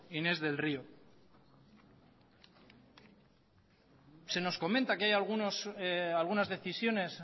inés del río se nos comenta que hay algunas decisiones